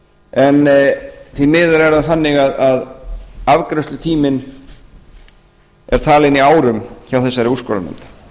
en því miður er það þannig að afgreiðslutíminn er talinn í árum hjá þessari úrskurðarnefnd